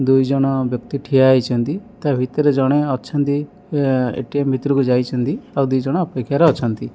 ଦୁଇଜଣ ବ୍ୟକ୍ତି ଠିଆ ହେଇଚନ୍ତି ତା ଭିତରେ ଜଣେ ଅଛନ୍ତି ଏ_ଟି_ଏମ୍ ଭିତରକୁ ଯାଇଛନ୍ତି ଆଉ ଦିଜଣ ଅପେକ୍ଷାରେ ଅଛନ୍ତି।